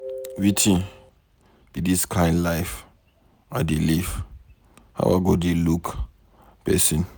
Wetin be dis kin life I dey live, how I go dey look person.